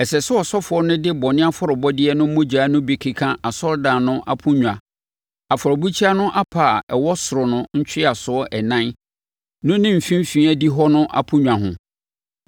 Ɛsɛ sɛ ɔsɔfoɔ no de bɔne afɔrebɔdeɛ no mogya no bi keka asɔredan no aponnwa, afɔrebukyia no apa a ɛwɔ soro no ntweaso ɛnan no ne mfimfini adihɔ no aponnwa ho.